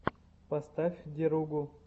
поставь деругу